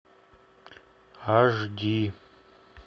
аш ди